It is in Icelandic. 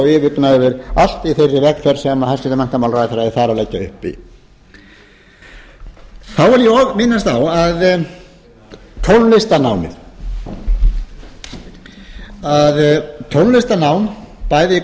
yfirgnæfir allt í þeirri vegferð sem hæstvirtur menntamálaráðherra er þar að leggja upp í þá vil ég og minnast á tónlistarnámið tónlistarnám bæði í